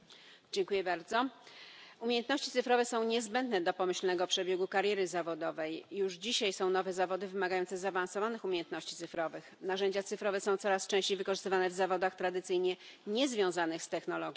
Panie Przewodniczący! Umiejętności cyfrowe są niezbędne do pomyślnego przebiegu kariery zawodowej. Już dzisiaj są nowe zawody wymagające zaawansowanych umiejętności cyfrowych. Narzędzia cyfrowe są coraz częściej wykorzystywane w zawodach tradycyjnie niezwiązanych z technologią.